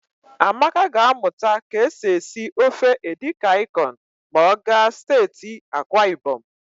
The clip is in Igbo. Amaka ga-amụta ka e si esi ofe edikaịkọn ma ọ gaa steeti Akwaịbọm.